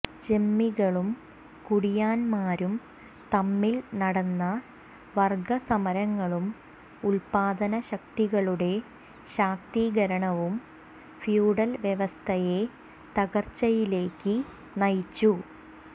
ജന്മികളും കുടിയാന്മാരും തമ്മിൽ നടന്ന വർഗ്ഗ സമരങ്ങളും ഉല്പാദനശക്തികളുടെ ശാക്തീകരണവും ഫ്യൂഡൽ വ്യവസ്ഥയെ തകർച്ചയിലേക്ക് നയിച്ചു